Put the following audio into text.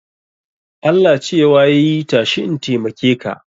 Allah cewa yai tashi in taimake ka